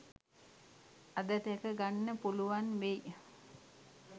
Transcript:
අද දැක ගන්න පුළුවන් වෙයි